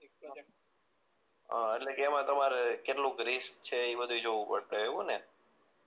અ એટલે કે એમાં તમારે કેટલું ક રિસ્ક છે એ બધુંય જોવું પડશે એવું ને